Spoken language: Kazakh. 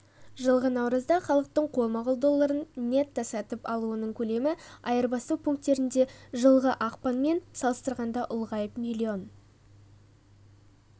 жылғы наурызда халықтың қолма-қол долларын нетто-сатып алуының көлемі айырбастау пункттерінде жылғы ақпанмен салыстырғанда ұлғайып млн